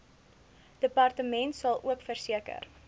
departement salook verseker